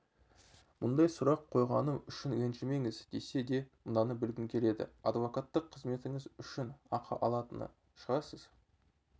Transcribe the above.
мұндай сұрақ қойғаным үшін ренжімеңіз десе де мынаны білгім келеді адвокаттық қызметіңіз үшін ақы алатын шығарсыз